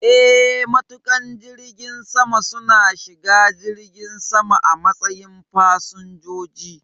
Eh, matuƙan jirgin sama su na shiga jirgin sama a matsayin fasinjoji